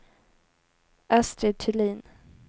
Astrid Thulin